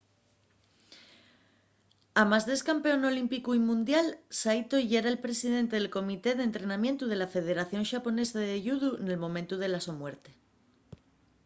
amás d’ex-campeón olímpicu y mundial saito yera’l presidente del comité d’entrenamientu de la federación xaponesa de yudu nel momentu de la so muerte